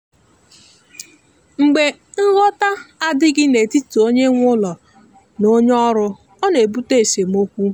mgbe nghọta adịghị n’etiti onye nwe ụlọ na onye ọrụ ọ na-ebute esemokwu.